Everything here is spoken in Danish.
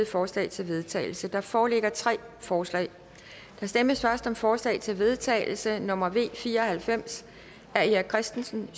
forslag til vedtagelse der foreligger tre forslag der stemmes først om forslag til vedtagelse nummer v fire og halvfems af erik christensen